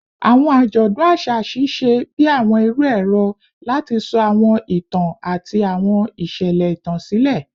Awọn ajọdun aṣa ṣiṣẹ bi awọn iru ẹrọ lati sọ awọn itan ati awọn iṣẹlẹ itan silẹ